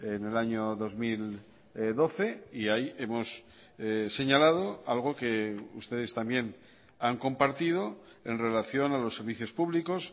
en el año dos mil doce y ahí hemos señalado algo que ustedes también han compartido en relación a los servicios públicos